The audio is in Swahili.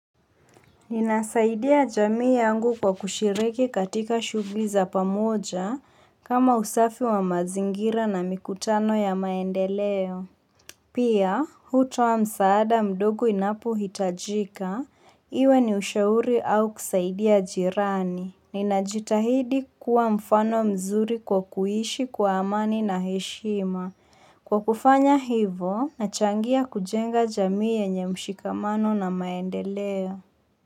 Ninasaidia jamii yangu kwa kushiriki katika shughuli za pamoja kama usafi wa mazingira na mikutano ya maendeleo. Pia, hutoa msaada mdogo inapohitajika, iwe ni ushauri au kusaidia jirani. Ninajitahidi kuwa mfano mzuri kwa kuishi kwa amani na heshima. Kwa kufanya hivo, nachangia kujenga jamii yenye mshikamano na maendeleo.